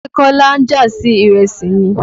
Ṣé kọ́lá ń jà sí ìrẹsì ni?